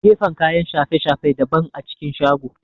Gefen kayan shafe-shafe daban a cikin shago